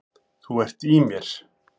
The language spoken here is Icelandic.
Þú ert í mér.